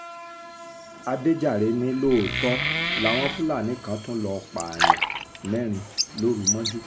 àdèjàre ni lóòótọ́ làwọn fúlàní kan tún lọ́ọ́ pààyàn mẹ́rin lóru mọ́jú